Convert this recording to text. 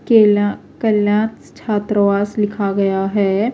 .کلیہ کلیانس چھتر واس لکھا گیا ہیں